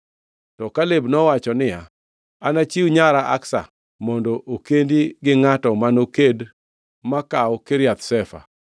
To Kaleb nowacho niya, “Anachiw nyara Aksa mondo okendi gi ngʼatno manoked ma kaw Kiriath Sefa.”